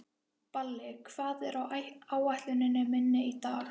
Balli, hvað er á áætluninni minni í dag?